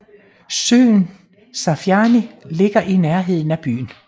Søen Safjany ligger i nærheden af byen